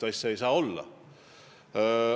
Niisugust asja ei tohi olla.